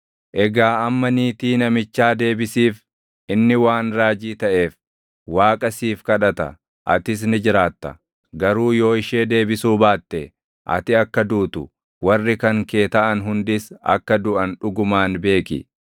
Egaa amma niitii namichaa deebisiif; inni waan raajii taʼeef, Waaqa siif kadhata; atis ni jiraatta. Garuu yoo ishee deebisuu baatte, ati akka duutu, warri kan kee taʼan hundis akka duʼan dhugumaan beeki.”